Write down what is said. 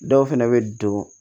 Dɔw fɛnɛ bɛ don